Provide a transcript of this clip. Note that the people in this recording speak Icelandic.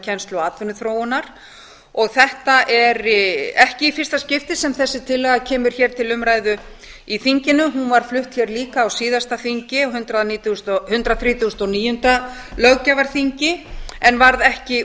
kennslu og atvinnuþróunar þetta er ekki í fyrsta skipti sem þessi tillaga kemur hér til umræðu í þinginu hún var flutt hér líka á síðasta þingi hundrað þrjátíu og níu löggjafarþingi en varð ekki